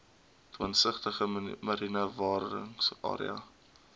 twintigste mariene bewaringsarea